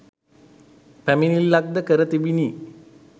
පැමිණිල්ලක්‌ද කර තිබිණි.